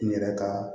N yɛrɛ ka